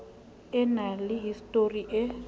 e na le histori e